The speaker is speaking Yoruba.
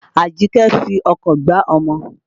Àjíkẹ́ fi ọkọ̀ gbá ọmọ.